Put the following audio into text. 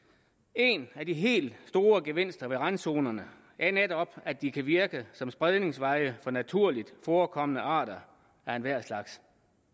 en af de helt store gevinster ved randzonerne er netop at de kan virke som spredningsveje for naturligt forekommende arter af enhver slags